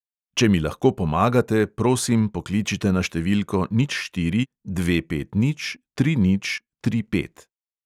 Če mi lahko pomagate, prosim, pokličite na številko nič štiri dve pet nič tri nič tri pet.